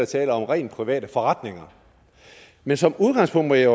tale om rent private forretninger men som udgangspunkt må jeg